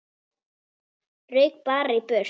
Rauk bara í burtu.